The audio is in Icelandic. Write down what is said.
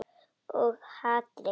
Og hatrið.